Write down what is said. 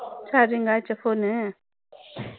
charging ஆச்சா phone